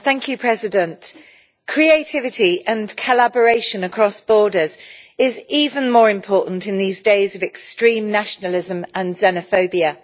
Mr President, creativity and collaboration across borders are even more important in these days of extreme nationalism and xenophobia.